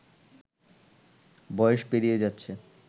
বয়স পেরিয়ে যাচ্ছে